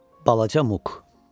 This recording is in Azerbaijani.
Balaca Muk.